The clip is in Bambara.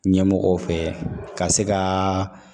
Ɲɛmɔgɔw fɛ ka se ka